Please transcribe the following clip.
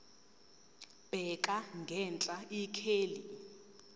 bheka ngenhla ikheli